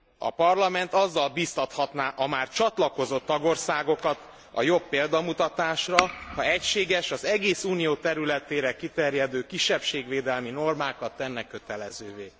A Parlament azzal biztathatná a már csatlakozott tagországokat a jobb példamutatásra, ha egységes, az egész Unió területére kiterjedő kisebbségvédelmi normákat tenne kötelezővé.